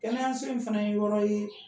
Kɛnɛya s'in fana ye yɔrɔ ye